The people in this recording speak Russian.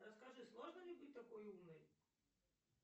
расскажи сложно ли быть такой умной